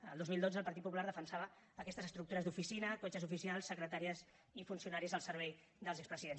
el dos mil dotze el partit popular defensava aquestes estructures d’oficina cotxes oficials secretàries i funcionaris al servei dels expresidents